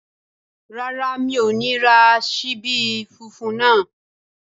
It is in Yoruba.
Rárá, mi ò ní ra ṣíbí funfun náà